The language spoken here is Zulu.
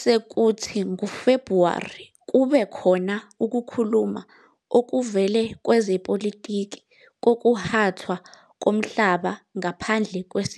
Sekuyiso leso sikhathi esithokozisayo sonyaka futhi lapho abakhethelwe Umncintiswano we-Grain